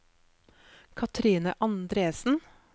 Katrine Andresen